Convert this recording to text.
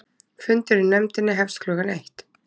Fundur í nefndinni hefst klukkan eitt